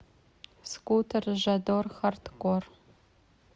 скутер жадор хардкор